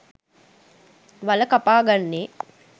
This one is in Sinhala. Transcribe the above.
වල කපාගන්නේ